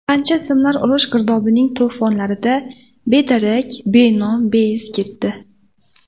Qancha ismlar urush girdobining to‘fonlarida bedarak, benom, beiz ketdi.